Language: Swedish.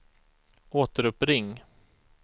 återuppring